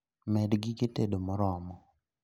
Med gige tedo moromo